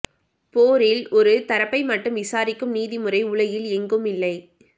போரில் ஒரு தரப்பை மட்டும் விசாரிக்கும் நீதி முறை உலகில் எங்கும் இல்லை